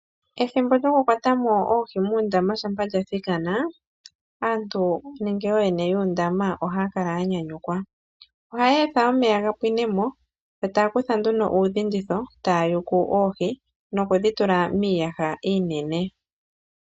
Ethimbo lyokukwata mo oohi muundama shampa lya thikana, ooyene yuundama ohaya kala ya nyanyukwa. Ohaya etha omeya ga pwine mo, yo taa kutha nduno uudhinditho taa yuku oohi nokudhi tula miiyaha iinene.